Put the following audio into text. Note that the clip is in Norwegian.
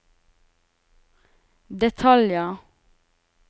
detaljer